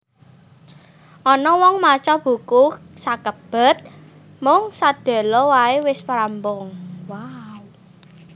Ana wong maca buku sakebet mung sedhela wae wis rampung